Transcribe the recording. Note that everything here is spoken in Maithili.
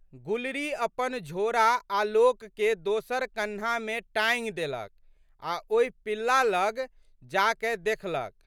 गुलरी अपन झोड़ा आलोकके दोसर कन्हामे टाँगि देलक आ' ओहि पिल्ला लग जाकए देखलक।